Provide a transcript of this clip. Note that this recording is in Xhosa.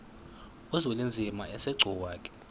uzwelinzima asegcuwa ke